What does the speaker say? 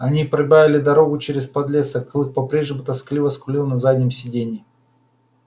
они пробивали дорогу через подлесок клык по-прежнему тоскливо скулил на заднем сиденье